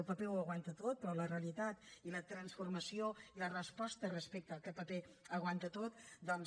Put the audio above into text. el paper ho aguanta tot però la realitat i la transformació i la resposta respecte al fet que el paper ho aguanta tot doncs